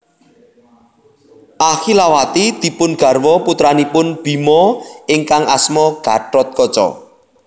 Ahilawati dipun garwa putranipun Bima ingkang asma Gathotkaca